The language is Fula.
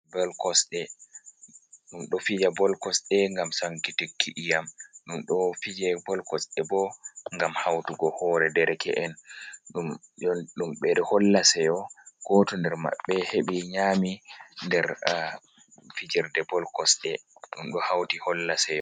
Bol kosɗe, ɗum ɗo fija bol kosɗe ngam sankittiki iyam, ɗum ɗo fije bol kosɗe bo ngam hautugo hore dereke’en, ɗum ɓe holla seyo goto nder maɓɓe heɓi nyami der fijerde bol kosɗe ɗum ɗo hauti holla seyo.